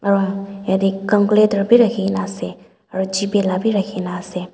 aro yate cunculator bi rakhikena ase aro Gpay la bi rakhikena ase.